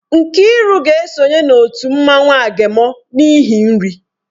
Nkiru ga-esonye na otu mmanwụ agemọ n'ihi nri.